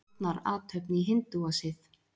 Fórnarathöfn í hindúasið.